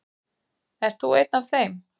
Ert þú einn af þeim?